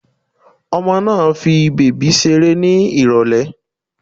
Ọmọ máa fi bèbí ṣeré ní Ìrọ̀lẹ̀